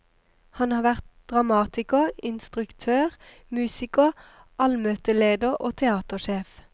Han har vært dramatiker, instruktør, musiker, allmøteleder og teatersjef.